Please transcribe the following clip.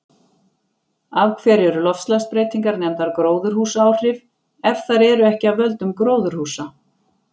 Af hverju eru loftslagsbreytingar nefndar gróðurhúsaáhrif ef þær eru ekki af völdum gróðurhúsa?